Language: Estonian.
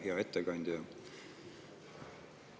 Hea ettekandja!